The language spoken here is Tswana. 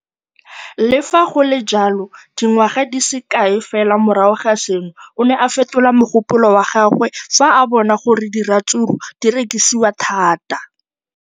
Le fa go le jalo, dingwaga di se kae fela morago ga seno, o ne a fetola mogopolo wa gagwe fa a bona gore diratsuru di rekisiwa thata.